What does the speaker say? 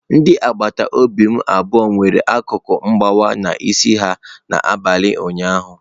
Ndị agbata obi m abụọ nwere akụkụ nkewa n'isi ha n'abalị ụnyaahụ.